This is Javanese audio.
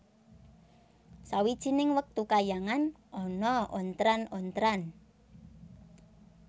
Sawijining wektu kayangan ana ontran ontran